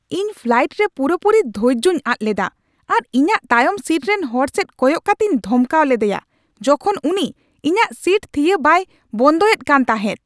ᱤᱧ ᱯᱷᱞᱟᱭᱤᱴ ᱨᱮ ᱯᱩᱨᱟᱹᱯᱩᱨᱤ ᱫᱷᱳᱨᱡᱚᱧ ᱟᱫ ᱞᱮᱫᱟ ᱟᱨ ᱤᱧᱟᱹᱜ ᱛᱟᱭᱚᱢ ᱥᱤᱴ ᱨᱮᱱ ᱦᱚᱲ ᱥᱮᱫ ᱠᱚᱭᱚᱜ ᱠᱟᱛᱮᱧ ᱫᱷᱚᱢᱠᱟᱣ ᱞᱮᱫᱭᱟ ᱡᱚᱠᱷᱚᱱ ᱩᱱᱤ ᱤᱧᱟᱹᱜ ᱥᱤᱴ ᱛᱷᱤᱭᱟᱹ ᱵᱟᱭ ᱵᱚᱱᱫᱯᱚᱭ ᱮᱫ ᱠᱟᱱ ᱛᱟᱦᱮᱸᱫ ᱾